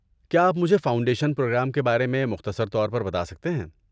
کیا آپ مجھے فاؤنڈیشن پروگرام کے بارے میں مختصر طور پر بتا سکتے ہیں؟